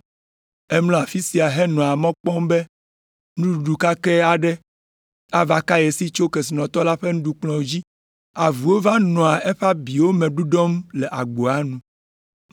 Emlɔa afi sia henɔa mɔ kpɔm be nuɖuɖu kakɛ aɖe ava ka ye si tso kesinɔtɔ la ƒe nuɖukplɔ̃ dzi. Avuwo va nɔa eƒe abiwo me ɖuɖɔm le agboa nu.